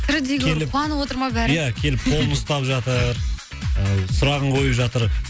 тірідей көріп қуанып отыр ма бәрі ия келіп қолын ұстап жатыр ы сұрағын қойып жатыр